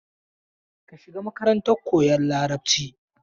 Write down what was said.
Ka shiga makarantar koyan Larabci!